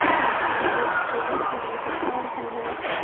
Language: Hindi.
और यहां पे एक कूलर भी नजर आ रहा है।